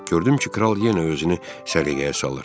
Gördüm ki, kral yenə özünü səliqəyə salır.